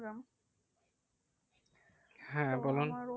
হ্যাঁ বলুন।